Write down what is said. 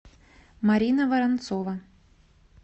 марина воронцова